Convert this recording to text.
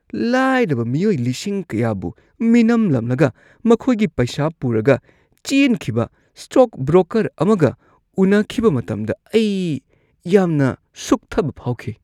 ꯂꯥꯏꯔꯕ ꯃꯤꯑꯣꯏ ꯂꯤꯁꯤꯡ ꯀꯌꯥꯕꯨ ꯃꯤꯅꯝꯂꯝꯂꯒ ꯃꯈꯣꯏꯒꯤ ꯄꯩꯁꯥ ꯄꯨꯔꯒ ꯆꯦꯟꯈꯤꯕ ꯁ꯭ꯇꯣꯛ ꯕ꯭ꯔꯣꯀꯔ ꯑꯃꯒ ꯎꯅꯈꯤꯕ ꯃꯇꯝꯗ ꯑꯩ ꯌꯥꯝꯅ ꯁꯨꯛꯊꯕ ꯐꯥꯎꯈꯤ꯫